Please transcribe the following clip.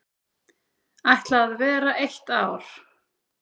Ætla vera eitt ár.